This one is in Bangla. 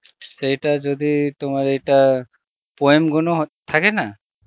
সেই টা যদি তোমার এইটা, poem গুনো থাকে না